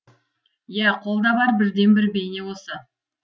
иә қолда бар бірден бір бейне осы